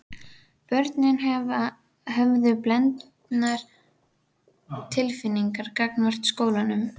Börnin höfðu blendnar tilfinningar gagnvart skólanum.